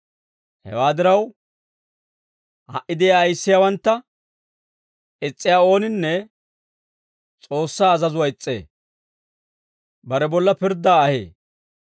Hewaa diraw, ha"i de'iyaa ayissiyaawantta is's'iyaa ooninne S'oossaa azazuwaa is's'ee; bare bolla pirddaa ahee.